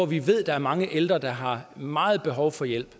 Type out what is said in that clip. vi ved der er mange ældre der har meget behov for hjælp